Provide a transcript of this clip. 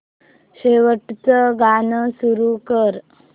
शेवटचं गाणं सुरू कर